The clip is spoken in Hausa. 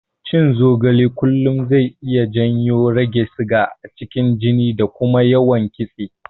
Cin zogale kullum zai iya janyo rage siga a cikin jini da kuma yawan kitse.